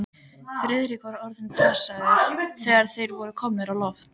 Friðrik var orðinn dasaður, þegar þeir voru komnir á loft.